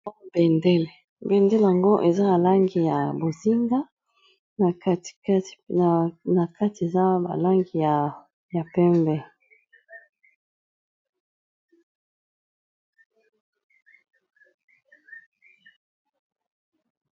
Oyo bendele yango eza balangi ya bozinga na kati eza balangi ya pembe